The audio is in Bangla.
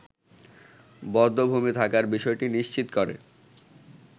বধ্যভূমি থাকার বিষয়টি নিশ্চিত করে